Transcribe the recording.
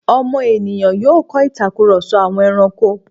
ọmọ ènìyàn yóò kọ́ ìtakùrọ̀sọ àwọn ẹrankó.